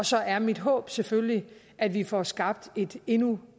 så er mit håb selvfølgelig at vi får skabt et endnu